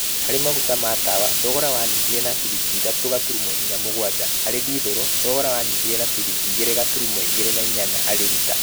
Harĩ maguta ma tawa thogora wanyihire na ciringi ithatũ gaturumo inya mũgwanja. Harĩ dithũrũ thogora wanyihĩre na ciringi igĩre gaturumo igĩre na inyanya harĩ lita.